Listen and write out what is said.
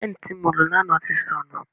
Peeni ti mo lo lana ti sọnu.